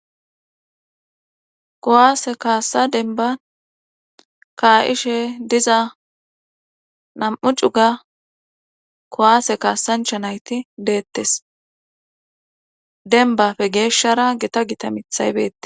Kowaase kaasa denba kaa7ishe diza nam7u cuga kowaase kaasancha nayti deettes denbafe geeshshara gita gita mithaybette